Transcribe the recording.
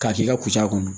K'a k'i ka kusa kɔnɔ